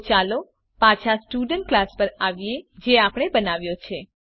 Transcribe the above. તો ચાલો પાછા સ્ટુડન્ટ ક્લાસ પર આવીએ જે આપણે બનાવ્યો હતો